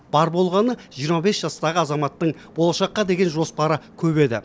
бар болғаны жиырма бес жастағы азаматтың болашаққа деген жоспары көп еді